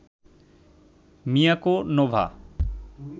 Miyako, Nova